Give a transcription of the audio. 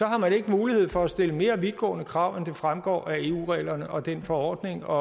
har man ikke mulighed for at stille mere vidtgående krav end det fremgår af eu reglerne og den forordning og